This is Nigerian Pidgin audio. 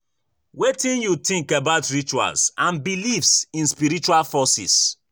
Wetin you think about rituals and beliefs in spiritual forces?